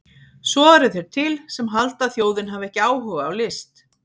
Svo eru þeir til sem halda að þjóðin hafi ekki áhuga á list!